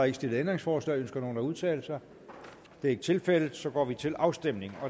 ikke stillet ændringsforslag ønsker nogen at udtale sig det er ikke tilfældet og så går vi til afstemning